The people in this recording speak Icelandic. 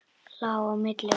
Lá á milli og umlaði.